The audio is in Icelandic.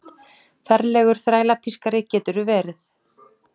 Ferlegur þrælapískari geturðu verið!